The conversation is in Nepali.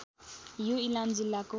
यो इलाम जिल्लाको